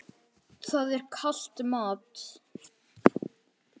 Það er kalt mat.